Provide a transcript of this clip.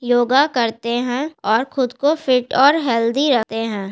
योगा करते है और खुद को फीट और हेल्दी रखते है।